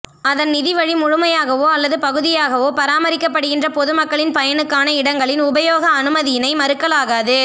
அதன் நிதி வழி முழுமையாகவோ அல்லது பகுதியாகவோ பராமரிக்கப்படுகின்ற பொது மக்களின் பயனுக்கான இடங்களில் உபயோக அனுமதியினை மறுக்கலாகாது